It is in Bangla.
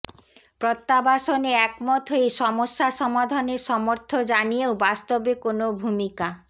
প্রত্যাবাসনে একমত হয়ে সমস্যা সমাধানের সমর্থ জানিয়েও বাস্তবে কোনো ভূমিকা